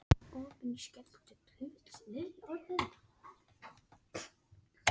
Þegar skýjað er endurvarpa skýin varmageislum aftur til yfirborðs og draga úr kólnun.